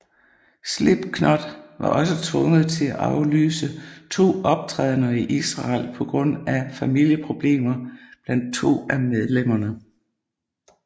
Slipknot var også tvunget til at aflyse to optrædener i Israel på grund af familieproblemer blandt to af medlemmerne